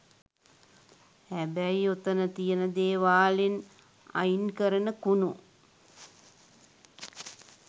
හැබැයි ඔතන තියෙන දේවාලෙන් අයින්කරන කුණු